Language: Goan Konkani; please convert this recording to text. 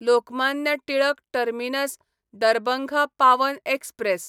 Lokmanya Tilak terminus Darbhanga Pawan express